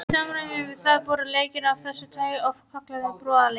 Í samræmi við það voru leikir af þessu tagi oft kallaðir brúarleikir.